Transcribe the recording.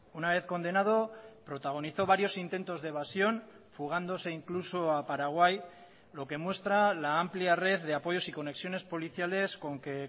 una vez condenado protagonizó varios intentos de evasión fugándose incluso a paraguay lo que muestra la amplia red de apoyos y conexiones policiales con que